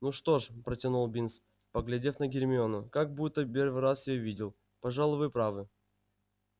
ну что ж протянул бинс поглядев на гермиону как будто первый раз её видел пожалуй вы правы